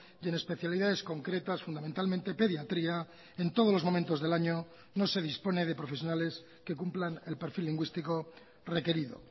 y en especialidades concretas fundamentalmente pediatría en todos los momentos del año no se dispone de profesionales que cumplan el perfil lingüístico requerido